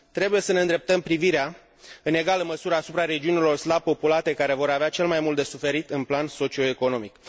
Trebuie să ne îndreptăm privirea în egală măsură asupra regiunilor slab populate, care vor avea cel mai mult de suferit în plan socioeconomic.